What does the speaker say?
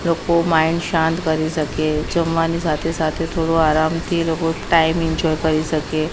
લોકો માઇન્ડ શાંત કરી સકે જમવાની સાથે-સાથે થોડુ આરામથી લોકો ટાઈમ એન્જોય કરી સકે --